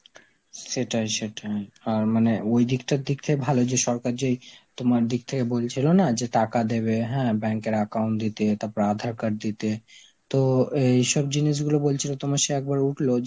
সেটাই সেটাই, আর মানে ওই দিকটার দিক থেকে ভালো যে সরকার যেই তোমার দিক থেকে বলছিল না যে টাকা দেবে, হ্যাঁ bank এর account দিতে তারপর আধার card দিতে, তো এইসব জিনিসগুলো বলছিল তোমার সেই একবার উঠলো